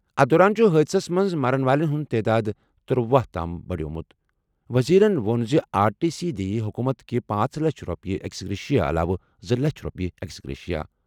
أتھہِ دوران چھُ حٲدثَس منٛز مَرَن والٮ۪ن ہُنٛد تعداد ترٗوہَ تام بڈیمُت۔ وزیرَن ووٚن زِ آر ٹی سی دِیہِ حکوٗمتٕکہِ پانژھ لچھ رۄپیہِ ایکس گریشیا علاوٕ زٕ لچھ رۄپیہِ ایکس گریشیا ۔